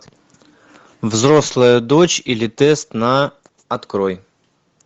взрослая дочь или тест на открой